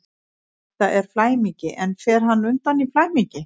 Þetta er flæmingi, en fer hann undan í flæmingi?